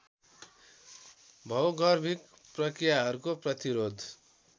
भौगर्भिक प्रक्रियाहरूको प्रतिरोध